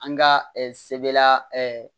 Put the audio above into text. An ka sebela